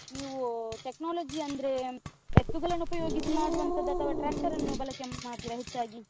ನೀವೂ technology ಅಂದ್ರೇ, ಎತ್ತುಗಳನ್ನ ಉಪಯೋಗಿಸಿ ಮಾಡುವಂಥದ್ದಾ ಅಥವಾ tractor ಅನ್ನು ಬಳಕೆ ಮಾಡ್ತೀರಾ ಹೆಚ್ಚಾಗಿ?